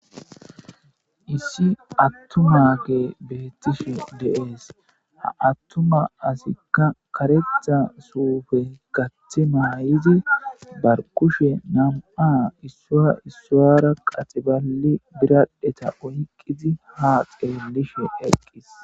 Issi attumaage bettishe dees. Ha attuma asikka karetha suufe mayzi bari kushe na'ama issuwa issuwaaraka qatseballi biradhdhetta oyqqizi haa tseellishe dees.